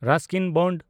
Ruskin bond